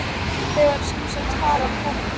Þau voru sem sagt falin þarna.